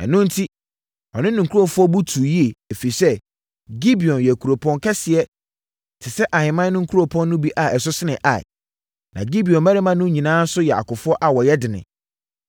Ɛno enti, ɔne ne nkurɔfoɔ bo tuu yie, ɛfiri sɛ, Gibeon yɛ kuropɔn kɛseɛ te sɛ ahemman no nkuropɔn no bi a ɛso sene Ai. Na Gibeon mmarima no nyinaa nso yɛ akofoɔ a wɔyɛ dene.